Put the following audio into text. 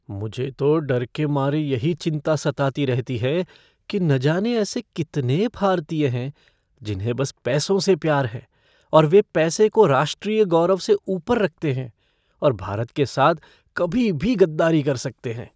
मुझे तो डर के मारे यही चिंता सताती रहती है कि ना जाने ऐसे कितने भारतीय हैं जिन्हें बस पैसों से प्यार है और वे पैसे को राष्ट्रीय गौरव से ऊपर रखते हैं और भारत के साथ कभी भी गद्दारी कर सकते हैं।